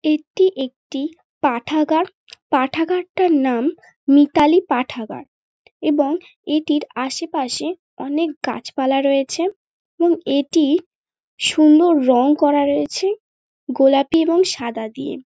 এটি একটি পাঠাগার পাঠাগারটার নাম মিতালি পাঠাগার এবং এটির আশেপাশে অনেক গাছপালা রয়েছে এবং এটি সুন্দর রঙ করা রয়েছে গোলাপি এবং সাদা দিয়ে।